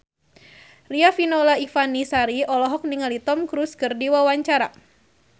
Riafinola Ifani Sari olohok ningali Tom Cruise keur diwawancara